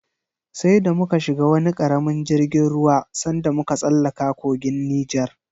Sai da muka shiga wani karamin jirgin ruwa sanda muka tsallaka kogin Nijar.